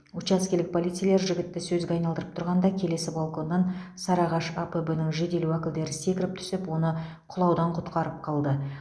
учаскелік полицейлер жігітті сөзге айналдырып тұрғанда келесі балконнан сарыағаш апб нің жедел уәкілдері секіріп түсіп оны құлаудан құтқарып қалды